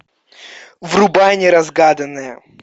врубай неразгаданное